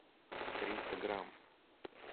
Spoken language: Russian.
триста грамм